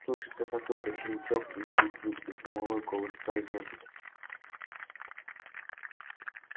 слышится какой-то щелчок и вдруг жуткий громовой голос произносит